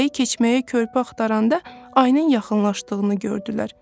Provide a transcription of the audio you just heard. Çayı keçməyə körpü axtaranda ayının yaxınlaşdığını gördülər.